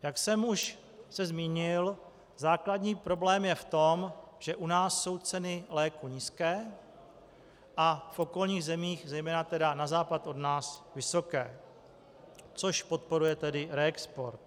Jak jsem se už zmínil, základní problém je v tom, že u nás jsou ceny léků nízké a v okolních zemích, zejména tedy na západ od nás, vysoké, což podporuje tedy reexport.